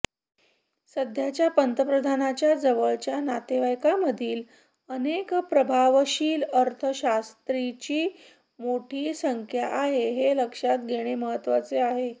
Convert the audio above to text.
सध्याच्या पंतप्रधानांच्या जवळच्या नातेवाईकांमधील अनेक प्रभावशाली अर्थशास्त्रींची मोठी संख्या आहे हे लक्षात घेणे महत्त्वाचे आहे